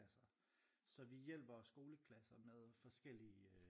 Så vi hjælper skoleklasser med forskellige